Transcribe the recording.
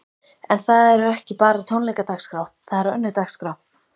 En það eru ekki bara tónleikadagskrá, það er önnur dagskrá?